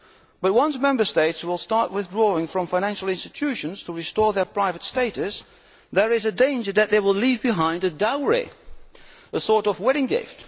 But once Member States start withdrawing from financial institutions to restore their private status, there is a danger that they will leave behind a dowry, a sort of wedding gift.